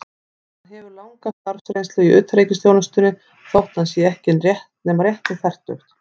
Hann hefur langa starfsreynslu í utanríkisþjónustunni, þótt hann sé ekki nema rétt um fertugt.